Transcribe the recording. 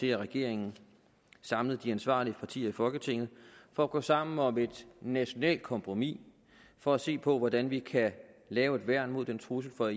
til at regeringen samlede de ansvarlige partier i folketinget for at gå sammen om et nationalt kompromis for at se på hvordan vi kan lave et værn mod den trussel fra